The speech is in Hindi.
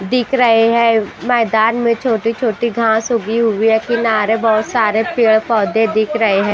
दिख रही है मैदान मे छोटी-छोटी घास उगी हुई है किनारे बहुत सारे पेड़ पौधे दिख रहे है।